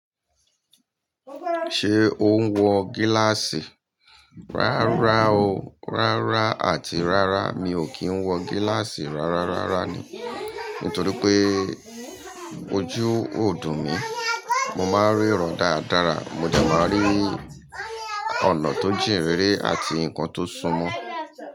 Ṣé o ń wọ gíláàsì? Rárá o. Rárá àti rárá mi ò kí ń wọ gíláàsì rárárára ni. Nítorí pé ojú ò dùn mí. Mo máa ń rí ràń dáradára, mo dẹ máa rí ọ̀nà tó jìn rere àti nǹkan tó ṣúmọ́.